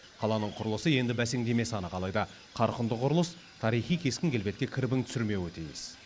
қаланың құрылысы енді бәсеңдемесі анық алайда қарқынды құрылыс тарихи кескін келбетке кірбің түсірмеуі тиіс